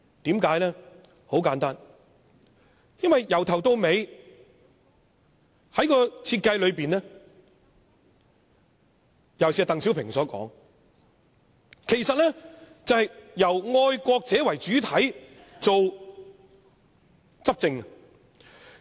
很簡單，"一國兩制"由始至終的設計，尤其是鄧小平所說，就是由愛國者為主體執政。